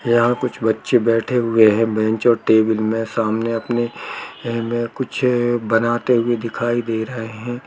यहाँ कुछ बच्चे बैठे हुएँ हैं बेंच और टेबिल में सामने अपने में कुछ बनाते हुए दिखाई दे रहें हैं ।